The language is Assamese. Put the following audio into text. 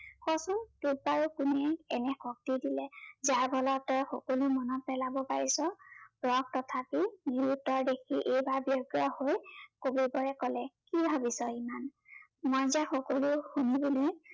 তোক বাৰু কোনে এনে শক্তি দিলে, যাৰ ফলত সকলো মনত পেলাব পাৰিছ? জয়ক তথাপি নিৰোত্তৰ দেখি এইবাৰ ব্য়গ্ৰ হৈ কবিবৰে কলে, কি ভাবিছ ইমান, মই যে সকলো শুনি শুনি